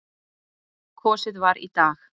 Kosið var í dag.